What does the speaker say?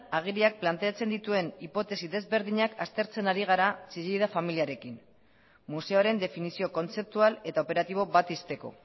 agiriak planteatzen dituen hipotesi ezberdinak aztertzen ari gara chillida familiarekin museoaren definizio kontzeptual eta operatibo bat ixteko